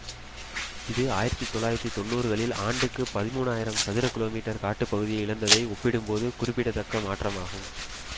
இது ஆயிரத்தி தொள்ளாயிரத்தி தொன்னூறு களில் ஆண்டுக்கு பதிமூன்றாயிரம் சதுர கிமீ காட்டுப்பகுதியை இழந்ததை ஒப்பிடும் போது குறிப்பிடத்தக்க மாற்றமாகும்